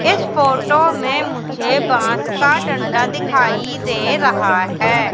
इस फोटो में मुझे बांस का डंडा दिखाई दे रहा है।